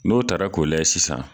N'o tara k'o layɛ sisan.